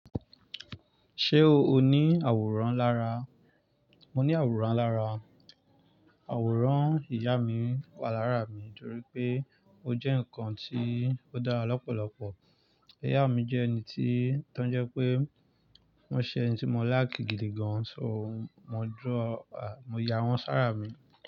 Ṣé o ní àwòrán lára? Mo ní àwòrán lára. Àwòrán ìyá mi wà lára mi nítorí pé ó jẹ́ nǹkan tí ó dára lọ́pọ̀lọpọ̀. Ìyá mi jẹ́ ẹni tí, tó ń jẹ́ pé wọ́n ṣe ẹni tí mo liki gidi gan. So, mo draw, mo ya wọ́n sára mi.